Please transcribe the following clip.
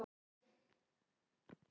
Flakaði og sá um þrif.